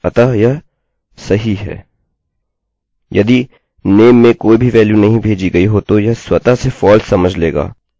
यदि नाम में कोई भी वेल्यू नहीं भेजी गई हो तो यह स्वतः से false समझ लेगा इसलिए यह इसको निष्पादित नहीं करेगा